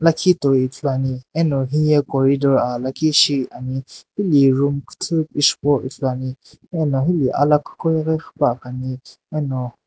lakhi toi ithuluani eno hiye corridor aa lakhi shiani hili room kuthu pishipuwo ithuluani ena hili alakhu qoghi qhipuakhani eno.